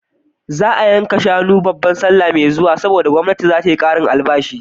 Za a yanka shanu da yawa babar sallah mai zuwa, saboda gwamnati za ta yi ƙarin albashi.